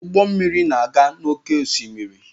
Ụgbọ mmiri na-aga n'oké osimiri.